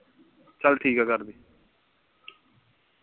ਚੱਲ ਠੀਕ ਹੈ ਕਰਦੀ